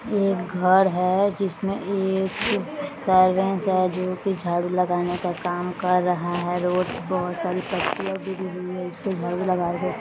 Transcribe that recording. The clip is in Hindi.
एक घर है जिसमें एक सर्वेंट है जो की झाड़ू लगाने का काम कर रहा है रोड पर बहोत सारे पत्तियां गिरी हुई है उस पे झाड़ू लगा रहे --